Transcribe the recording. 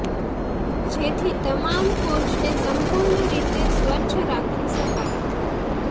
જેથી તમામ કોચ ને સંપૂર્ણ રીતે સ્વચ્છ રાખી શકાય